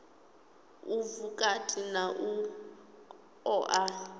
u vhukati na u oa